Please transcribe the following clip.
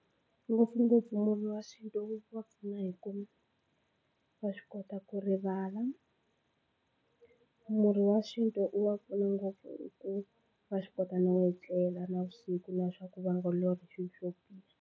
Ngopfungopfu murhi wa xintu wu va pfuna hikuva wa swi kota ku rivala murhi wa xintu u va pfuna ngopfu hi ku wa swi kota no etlela navusiku na swa ku va nga lorhi swilo swo biha.